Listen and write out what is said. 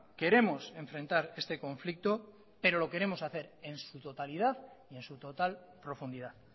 queremos enfrentar este conflicto pero lo queremos hacer en su totalidad y en su total profundidad